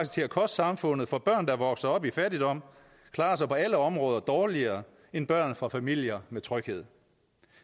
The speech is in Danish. til at koste samfundet for børn der vokser op i fattigdom klarer sig på alle områder dårligere end børn fra familier med tryghed